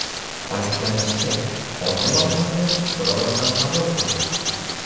Ta’kidlanishicha, qonun loyihasi bir ovozdan qabul qilindi.